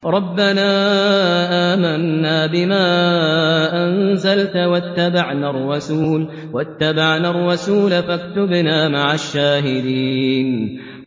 رَبَّنَا آمَنَّا بِمَا أَنزَلْتَ وَاتَّبَعْنَا الرَّسُولَ فَاكْتُبْنَا مَعَ الشَّاهِدِينَ